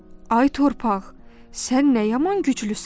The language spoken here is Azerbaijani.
Ay torpaq, sən nə yaman güclüsən?